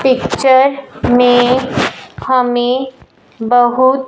picture में हमें बहुत--